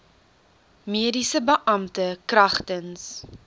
mediese beampte kragtens